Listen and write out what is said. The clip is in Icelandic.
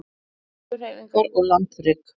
Jarðskorpuhreyfingar og landrek